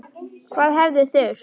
Hvað hefði þurft?